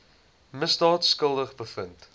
misdaad skuldig bevind